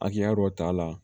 Hakɛya dɔ t'a la